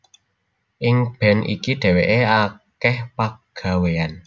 Ing band iki dhéwéké akèh pagawéyané